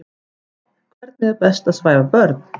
Hvernig er best að svæfa börn?